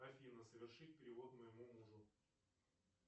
афина совершить перевод моему мужу